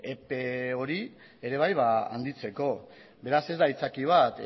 epe hori ere bai handitzeko beraz ez da aitzaki bat